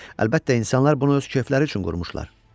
Əlbəttə insanlar bunu öz kefləri üçün qurmuşdular.